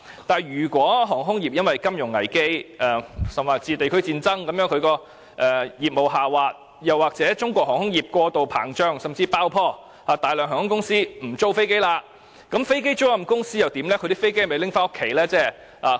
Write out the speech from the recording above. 可是，一旦航空業因金融危機甚至地區戰爭而令業務下滑，或是中國航空業過度膨脹甚至爆破，導致大量航空公司不再租用飛機，那麼飛機租賃公司將會如何？